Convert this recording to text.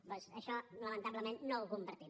doncs això lamentablement no ho compartim